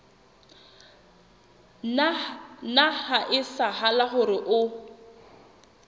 nna ha etsahala hore o